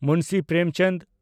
Munshi Premchand